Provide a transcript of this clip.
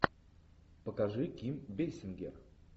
покажи ким бейсингер